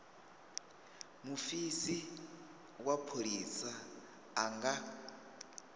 mufisi wa pholisa a nga